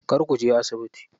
Kar kuje asibiti.